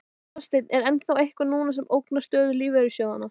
Hafsteinn: En er þá eitthvað núna sem ógnar stöðu lífeyrissjóðanna?